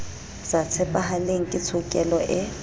sa tshepahaleng ke tshokelo e